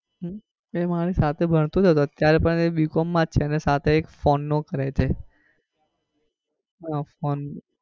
હમ એ મારી સાથે ભણતો હતો અત્યારે પણ એ bcom માં જ છે ને સાથે એ phone નું કરે છે. હમ phone નું.